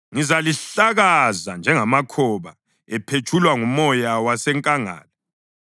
“Ngizalihlakaza njengamakhoba ephetshulwa ngumoya wasenkangala.